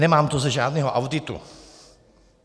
Nemám to ze žádného auditu.